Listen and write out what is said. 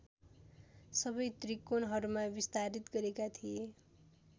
सबै त्रिकोणहरूमा विस्तारित गरेका थिए